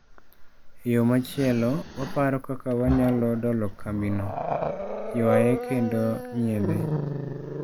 E yo machielo , waparo kaka wanyalo dolo kambino'', ywaye kendo nyiedhe.